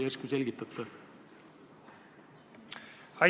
Järsku selgitate?